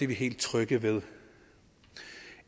vi helt trygge ved